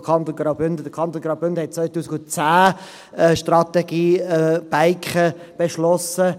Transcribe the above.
Der Kanton Graubünden hat 2010 eine Strategie Biken beschlossen.